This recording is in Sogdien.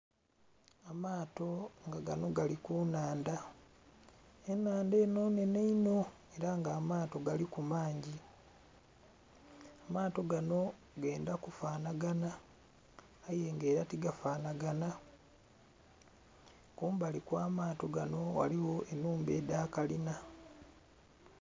Amaato nga gano gali kunhandha, enhandha eno nnhenhe inho era nga amaato galiku mangi. Amaato gano gendha kufanhaganha aye nga era tigafanhaganha kumbali okw'amaato gano ghaligho enhumba edhakalinha.